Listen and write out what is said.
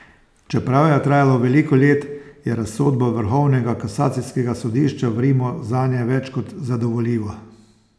Čeprav je trajalo veliko let, je razsodba Vrhovnega kasacijskega sodišča v Rimu zanje več kot zadovoljiva.